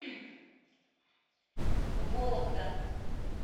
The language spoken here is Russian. вологда